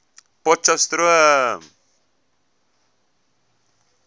potcheftsroom